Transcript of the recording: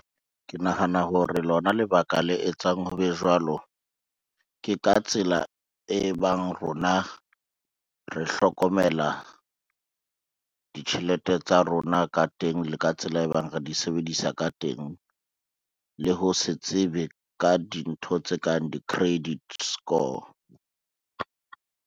Ke nahana hore lona lebaka le etsang ho be jwalo, ke ka tsela e bang rona re hlokomela ditjhelete tsa rona ka teng le ka tsela e bang re di sebedisa ka teng, le ho se tsebe ka dintho tse kang di-credit score.